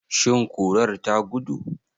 Shin kurar ta gudu?